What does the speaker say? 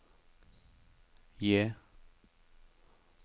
J